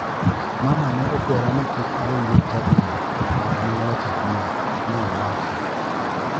" Mama ne okwera ni kik adonji e chadino; kara ne owacho adier" ne owacho.